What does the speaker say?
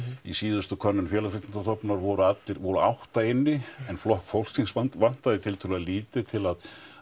í síðustu könnun Félagsvísindastofnunar voru allir voru átta inni en Flokk fólksins vantaði tiltölulega lítið til að